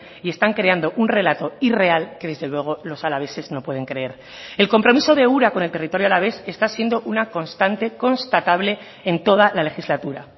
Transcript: y están creando un relato irreal que desde luego los alaveses no pueden creer el compromiso de ura con el territorio alavés está siendo una constante constatable en toda la legislatura